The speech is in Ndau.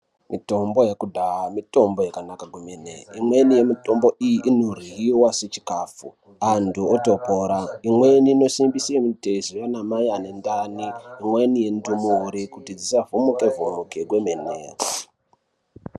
Mitombo yekudhaya mitombo yakanaka kwemene. Imweni yemitombo iyi inoryiwa sechikhafu, antu otopora. Imweni inosimbise mitezo yaanamai ane ndani. Imweni inotoore kuti dzisavhomoke-vhomoke kwemene.